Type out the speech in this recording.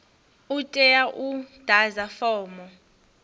u tea u ḓadza fomo